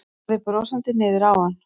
Horfði brosandi niður á hann.